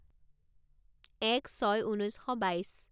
এক ছয় ঊনৈছ শ বাইছ